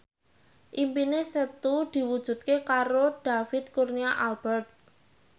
impine Setu diwujudke karo David Kurnia Albert